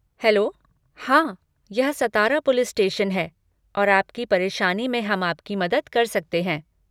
Hello, हाँ, यह Satara police station है और आपकी परेशानी में हम आपकी मदद कर सकते हैं।